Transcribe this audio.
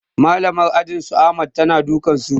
Malamar ajin su ahmad ta na dukan su